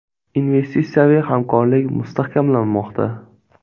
Investitsiyaviy hamkorlik mustahkamlanmoqda.